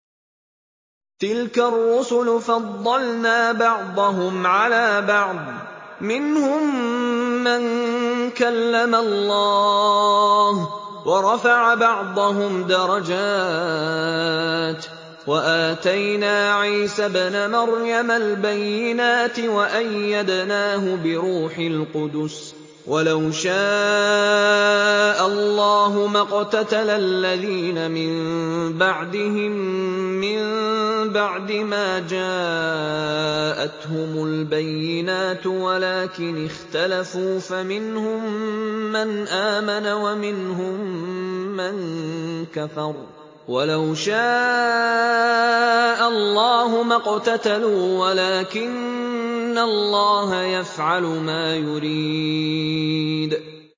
۞ تِلْكَ الرُّسُلُ فَضَّلْنَا بَعْضَهُمْ عَلَىٰ بَعْضٍ ۘ مِّنْهُم مَّن كَلَّمَ اللَّهُ ۖ وَرَفَعَ بَعْضَهُمْ دَرَجَاتٍ ۚ وَآتَيْنَا عِيسَى ابْنَ مَرْيَمَ الْبَيِّنَاتِ وَأَيَّدْنَاهُ بِرُوحِ الْقُدُسِ ۗ وَلَوْ شَاءَ اللَّهُ مَا اقْتَتَلَ الَّذِينَ مِن بَعْدِهِم مِّن بَعْدِ مَا جَاءَتْهُمُ الْبَيِّنَاتُ وَلَٰكِنِ اخْتَلَفُوا فَمِنْهُم مَّنْ آمَنَ وَمِنْهُم مَّن كَفَرَ ۚ وَلَوْ شَاءَ اللَّهُ مَا اقْتَتَلُوا وَلَٰكِنَّ اللَّهَ يَفْعَلُ مَا يُرِيدُ